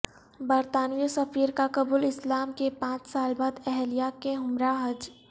برطانوی سفیر کا قبول اسلام کےپانچ سال بعد اہلیہ کے ہمراہ حج